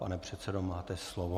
Pane předsedo, máte slovo.